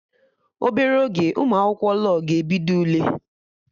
Obere oge Ụmụ akwụkwọ law ga-ebido Ule